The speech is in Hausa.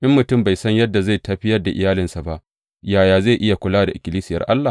In mutum bai san yadda zai tafiyar da iyalinsa ba, yaya zai iya kula da ikkilisiyar Allah?